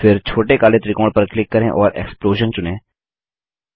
फिर छोटे काले त्रिकोण पर क्लिक करें और एक्सप्लोजन चुनें